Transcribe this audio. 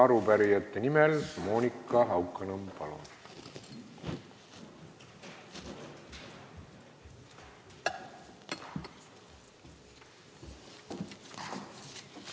Arupärijate nimel Monika Haukanõmm, palun!